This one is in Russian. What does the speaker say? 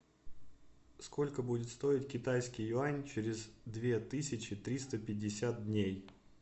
сколько будет стоить китайский юань через две тысячи триста пятьдесят дней